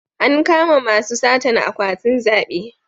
An kama masu satan akwatin zabe